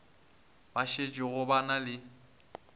ba šetšego ba na le